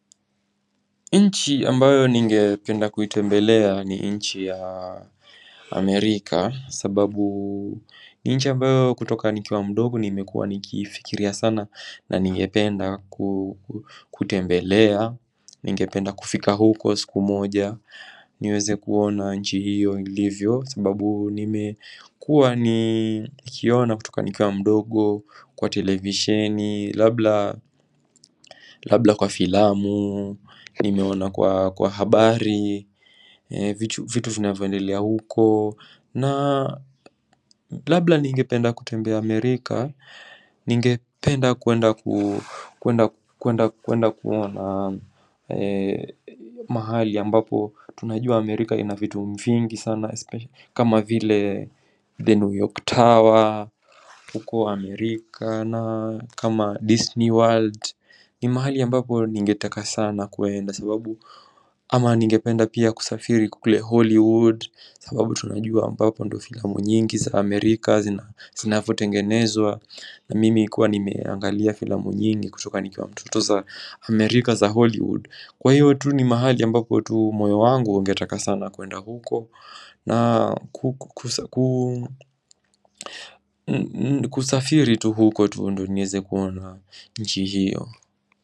Nchi ambayo ningependa kuitembelea ni nchi ya Amerika sababu nchi ambayo kutoka nikiwa mdogo nimekuwa nikifikiria sana na ningependa kutembelea, ningependa kufika huko siku moja niweze kuona nchi hiyo ilivyo sababu nimekuwa nikiona kutoka nikiwa mdogo kwa televishini, labla labda kwa filamu nimeona kwa habari vitu vinavoendelea huko na labda ningependa kutembea Amerika ningependa kuenda kuenda kuona mahali ambapo tunajua Amerika ina vitu vingi sana kama vile the New York Tower huko Amerika na kama Disney World ni mahali ambapo ningetaka sana kuenda sababu ama ningependa pia kusafiri kule Hollywood sababu tunajua ambapo ndo filamu nyingi za Amerika zinavotengenezwa na mimi kuwa nimeangalia filamu nyingi kutoka nikiwa mtoto za Amerika za Hollywood Kwa hiyo tu ni mahali ambapo tu moyo wangu ungetaka sana kuenda huko na kusafiri tu huko tu ndio nieze kuona nchi hiyo.